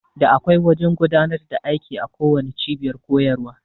Da akwai wajan godanar da aiki a kowanne cibiyar kuyarwa